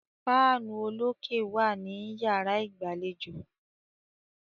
Fáànù olókè wà ní yàrá ìgbàlejò.